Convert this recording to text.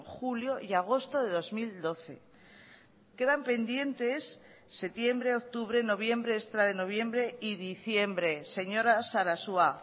julio y agosto de dos mil doce quedan pendientes septiembre octubre noviembre extra de noviembre y diciembre señora sarasua